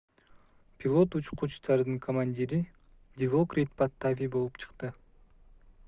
пилот учкучтардын командири дилокрит паттави болуп чыкты